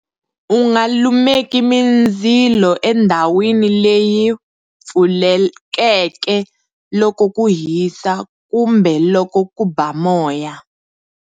U nga lumeki mindzilo endhawini leyi pfulekeke loko ku hisa kumbe loko ku ba moya.